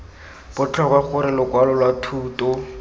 botlhokwa gore lokwalo lwa thuto